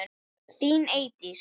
Þín Eydís.